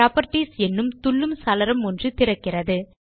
properties எனும் துள்ளு சாளரம் ஒன்று திறக்கிறது